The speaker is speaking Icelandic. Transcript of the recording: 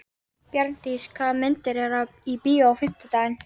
Bjarndís, hvaða myndir eru í bíó á fimmtudaginn?